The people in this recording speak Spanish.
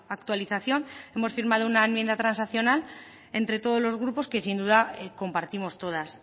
actualización hemos firmado una enmienda transaccional entre todos los grupos que sin duda compartimos todas